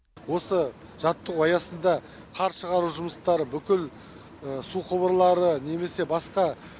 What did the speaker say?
осы жаттығу аясында қар шығару жұмыстары бүкіл су құбырлары немесе басқа